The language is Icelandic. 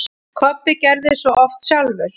Kobbi gerði svo oft sjálfur.